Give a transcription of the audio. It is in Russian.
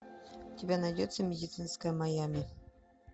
у тебя найдется медицинское майами